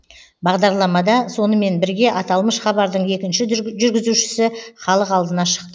бағдарламада сонымен бірге аталмыш хабардың екінші жүргізушісі халық алдына шықты